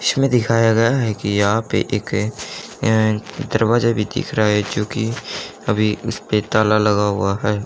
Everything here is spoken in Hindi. छ में दिखाया गया है कि यहां पे एक अं दरवाजा भी दिख रहा है जो कि अभी उसपे ताला लगा हुआ है।